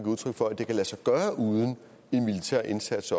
udtryk for at det kan lade sig gøre uden en militær indsats